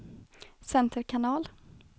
center kanal